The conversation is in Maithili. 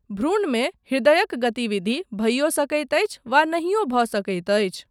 भ्रूणमे हृदयक गतिविधि भइयो सकैत अछि वा नहियो भऽ सकैत अछि।